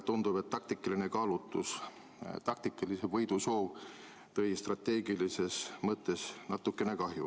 Tundub, et taktikaline kaalutlus, taktikalise võidu soov tõi strateegilises mõttes natukene kahju.